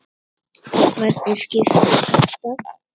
Og hvernig skiptist þetta?